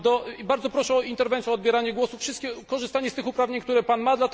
I bardzo proszę o interwencję, o odbieranie głosu wszystkim, korzystanie z tych uprawnień, które Pan ma.